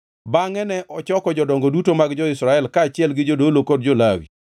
Bende ne ochoko jodongo duto mag jo-Israel kaachiel gi jodolo kod jo-Lawi.